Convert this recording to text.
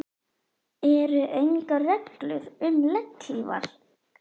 Eru engar reglur um legghlífar?